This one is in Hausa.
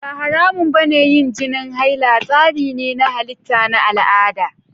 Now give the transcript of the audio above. Ba haramun ba ne yin jinin haila; tsari ne na halitta na al'ada.